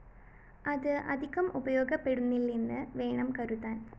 അത് അധികം ഉപയോഗപ്പെടുന്നില്ലെന്ന് വേണം കരുതാന്‍